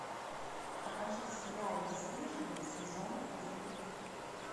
покажи сериал бесстыжие сезон три